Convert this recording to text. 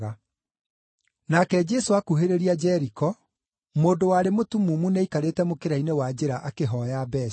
Nake Jesũ akuhĩrĩria Jeriko, mũndũ warĩ mũtumumu nĩaikarĩte mũkĩra-inĩ wa njĩra akĩhooya mbeeca.